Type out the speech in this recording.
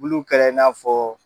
Buluw kɛra in'a fɔ